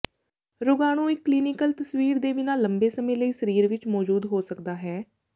ਰੋਗਾਣੂ ਇੱਕ ਕਲੀਨਿਕਲ ਤਸਵੀਰ ਦੇ ਬਿਨਾਂ ਲੰਬੇ ਸਮੇਂ ਲਈ ਸਰੀਰ ਵਿੱਚ ਮੌਜੂਦ ਹੋ ਸਕਦਾ ਹੈ